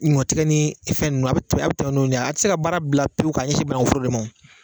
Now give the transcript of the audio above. Ɲɔ tigɛ ni fɛn ninnu, a bɛ a bɛ tɛmɛ n'olu ye a tɛ se ka baara bila pewu k'a ɲɛsin banaku foro de ma o.